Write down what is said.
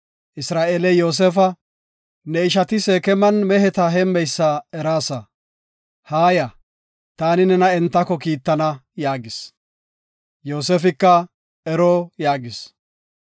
Isra7eeley Yoosefa, “Ne ishati Seekeman meheta heemmeysa eraasa. Haaya, taani nena entako kiittana” yaagis. Yoosefika, “Ero” yaagis.